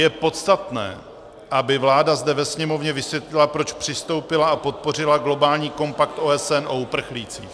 Je podstatné, aby vláda zde ve Sněmovně vysvětlila, proč přistoupila a podpořila globální kompakt OSN o uprchlících.